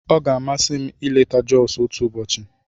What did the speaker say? Ọ ga-amasị m ileta Josu otu ụbọchị.